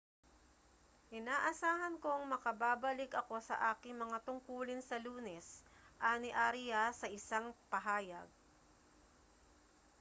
inaasahan kong makababalik ako sa aking mga tungkulin sa lunes ani arias sa isang pahayag